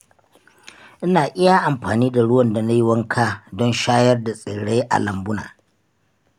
Ina iya amfani da ruwan da na yi wanka don shayar da tsirrai a lambuna.